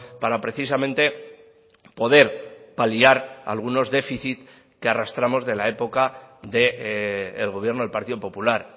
para precisamente poder paliar algunos déficits que arrastramos de la época del gobierno del partido popular